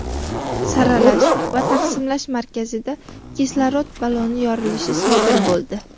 saralash va taqsimlash markazida kislorod balloni yorilishi sodir bo‘ldi.